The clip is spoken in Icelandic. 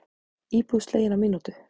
Íbúð slegin á mínútu